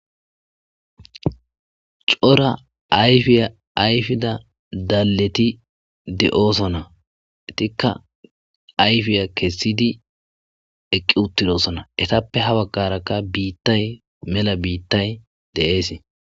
Coora ayfiya ayfida dalleti de7oosona tikka ayfiya kessidi eqqi uttidosona etappe ha baggarakka biittay mela biittay de7ees.